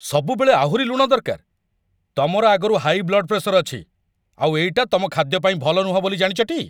ସବୁବେଳେ ଆହୁରି ଲୁଣ ଦରକାର! ତମର ଆଗରୁ ହାଇ ବ୍ଲଡ୍ ପ୍ରେସର ଅଛି, ଆଉ ଏଇଟା ତମ ଖାଦ୍ୟ ପାଇଁ ଭଲ ନୁହଁ ବୋଲି ଜାଣିଚ ଟି?